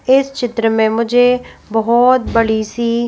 इस चित्र में मुझे बहुत बड़ी सी--